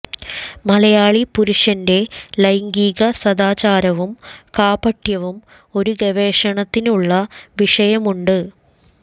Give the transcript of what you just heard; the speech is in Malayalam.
മലയാളി പുരുഷന്റെ ലൈംഗിക സദാചാരവും കാപട്യവും ഒരു ഗവേഷണത്തിനുള്ള വിഷയമുണ്ട്